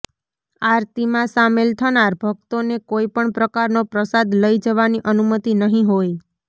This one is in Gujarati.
આરતીમાં સામેલ થનાર ભકતોને કોઇપણ પ્રકારનો પ્રસાદ લઇ જવાની અનુમતી નહી હોય